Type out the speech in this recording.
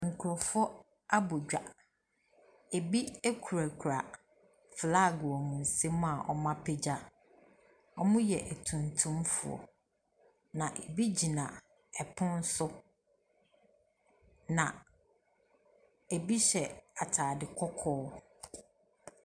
Nkurɔfoɔ abɔ dwa, ebi kurakura flag wɔ wɔn nsam a wɔapagya. Wɔyɛ tuntumfoɔ. Na ebi gyina ɛpono so, na ebi hyɛ ataade kɔkɔɔ.